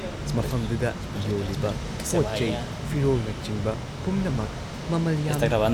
ꯃꯐꯝꯗꯨꯗ ꯌꯣꯜꯂꯤꯕ ꯄꯣꯠꯆꯩ ꯐꯤꯔꯣꯜꯅꯆꯤꯡꯕ ꯄꯨꯝꯅꯃꯛ ꯃꯃꯜ ꯌꯥꯝꯏ ꯫